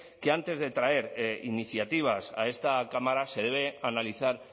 que antes de traer iniciativas a esta cámara se debe analizar